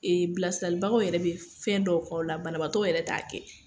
bilasiralibagaw yɛrɛ be fɛn dɔw k'aw la banabaatɔ yɛrɛ t'a kɛ.